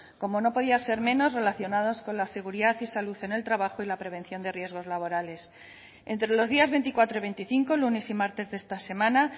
como no podía ser menos relacionados con la seguridad y salud en el trabajo y la prevención de riesgos laborales entre los días veinticuatro y veinticinco lunes y martes de esta semana